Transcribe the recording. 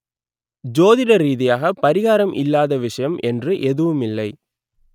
ஜோதிட ரீதியாக பரிகாரம் இல்லாத விஷயம் என்று எதுவுமில்லை